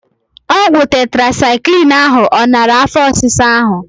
Ọgwụ tetrasaịklin ahụ ọ nara afọ ọsisa ahụ?